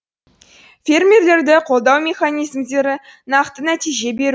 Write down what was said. фермерлерді қолдау механизмдері нақты нәтиже беру